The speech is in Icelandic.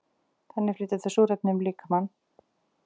Þannig flytja þau súrefnis um líkamann.